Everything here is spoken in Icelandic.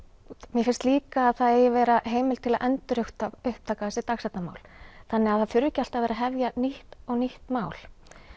mér finnst líka að það eigi að vera heimild til að endurupptaka þessi dagsektarmál þannig að það þurfi ekki alltaf að vera að hefja nýtt og nýtt mál